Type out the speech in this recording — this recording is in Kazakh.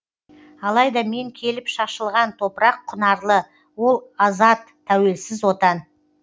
алайда мен келіп шашшылған топырақ құнарлы ол азат тәуелсіз отан